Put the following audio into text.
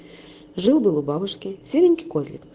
жил-был у бабушки серенький козлик